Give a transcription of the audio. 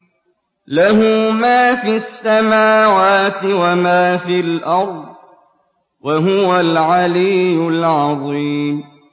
لَهُ مَا فِي السَّمَاوَاتِ وَمَا فِي الْأَرْضِ ۖ وَهُوَ الْعَلِيُّ الْعَظِيمُ